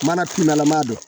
Mana kumana don